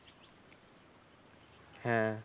হ্যাঁ